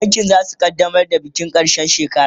bankin zasu kaddamar da bikin karshen shekara